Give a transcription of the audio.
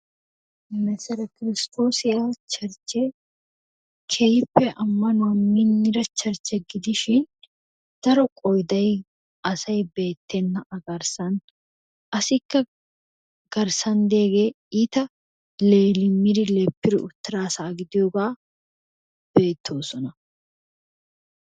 Mesere kiristoosiya churchche keehippe amanuwa minnida churchchee gidishshin daro qoydday asay beettena a garssan assikka garssan degee iitta leemidi leppiri uttira asaa gidiyoogaa beettoosona.